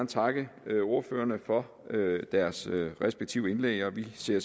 takke ordførerne for deres respektive indlæg og vi ser